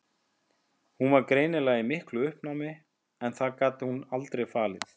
Hún var greinilega í miklu uppnámi en það gat hún aldrei falið.